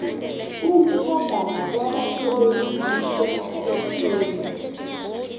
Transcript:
ukutjhagala kwabasebenzi kusemthethweni